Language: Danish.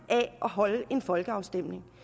holde en folkeafstemning